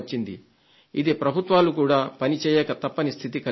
ఇది ప్రభుత్వాలు కూడా పనిచేయక తప్పని స్థితిని కలిగిస్తుంది